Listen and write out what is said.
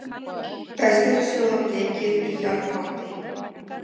Best er að sjóða blekið í járnpotti.